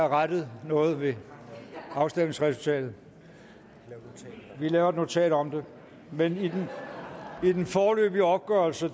rettet noget ved afstemningsresultatet vi laver et notat om det men i den foreløbige opgørelse